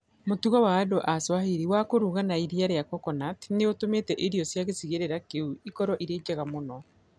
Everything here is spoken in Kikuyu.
Mũtugo wa andũ a Swahili wa kũruga na iria rĩa coconut nĩ ũtũmĩte irio cia gĩcigĩrĩra kĩu ikorũo irĩ njega mũno.